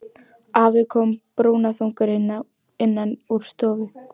Afi kom brúnaþungur innan úr stofu.